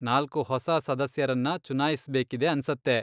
ನಾಲ್ಕು ಹೊಸ ಸದಸ್ಯರನ್ನ ಚುನಾಯಿಸ್ಬೇಕಿದೆ ಅನ್ಸತ್ತೆ.